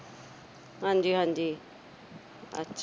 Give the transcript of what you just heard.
ਹਾਂਜੀ-ਹਾਂਜੀ। ਅੱਛਾ।